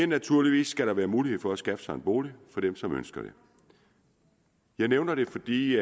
naturligvis skal der være mulighed for at skaffe sig en bolig for dem som ønsker det jeg nævner det fordi